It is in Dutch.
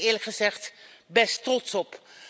Daar ben ik eerlijk gezegd best trots op.